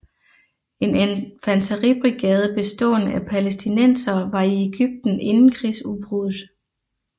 En infanteribrigade bestående af palæstinensere var i Egypten inden krigsudbruddet